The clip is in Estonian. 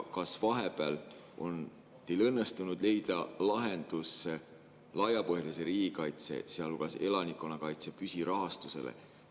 Kas vahepeal on teil õnnestunud leida lahendus laiapõhjalise riigikaitse, sealhulgas elanikkonnakaitse püsirahastusele?